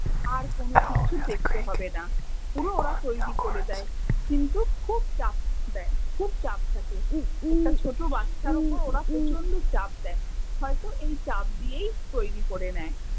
আর কোনো কিচ্ছু দেখতে হবে না। পুরো ওরা করে তৈরী করে দেয়। কিন্তু খুব চাপ দেয়, খুব চাপ থাকে। একটা ছোট বাচ্চার ওপর ওরা প্রচন্ড চাপ দেয়। হয়তো এই চাপ দিয়েই তৈরী করে নেয়